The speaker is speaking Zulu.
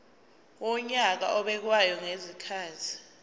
wonyaka obekwayo ngezikhathi